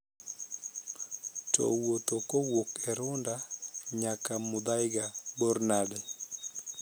To wuotho kowuok e runda nyaka muthaiga bor nade?